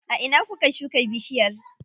A ina kuka shuka bishiyar?